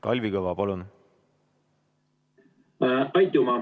Kalvi Kõva, palun!